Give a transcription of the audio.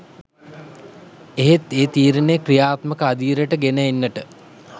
එහෙත් ඒ තීරණය ක්‍රියාත්මක අදියරට ගෙන එන්නට